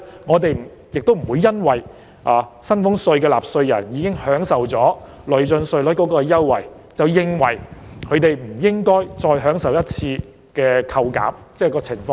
我們不會因為薪俸稅的納稅人已享有累進稅率的優惠，便認為他們不應該受惠於一次性扣減的寬免措施。